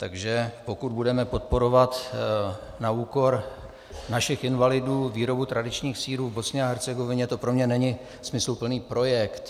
Takže pokud budeme podporovat na úkor našich invalidů výrobu tradičních sýrů v Bosně a Hercegovině, to pro mne není smysluplný projekt.